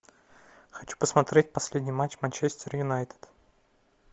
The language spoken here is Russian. хочу посмотреть последний матч манчестер юнайтед